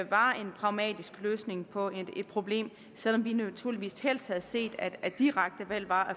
var en pragmatisk løsning på et problem selv om vi naturligvis helst havde set at direkte valg var